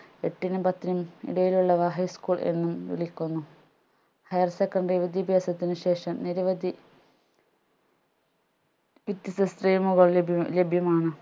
എട്ടിനും പത്തിനും ഇടയിലുള്ളവ high school എന്നും വിളിക്കുന്നു higher secondary വിദ്യാഭ്യാസത്തിന് ശേഷം നിരവധി വിത്യസ്ത stream കൾ ലഭ്യം ലഭ്യമാണ്